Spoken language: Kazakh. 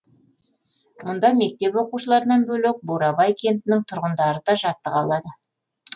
мұнда мектеп оқушыларынан бөлек бурабай кентінің тұрғындары да жаттыға алады